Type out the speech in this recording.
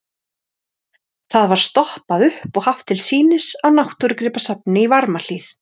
Það var stoppað upp og haft til sýnis á Náttúrugripasafninu í Varmahlíð.